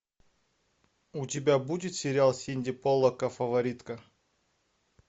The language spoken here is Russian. у тебя будет сериал синди поллака фаворитка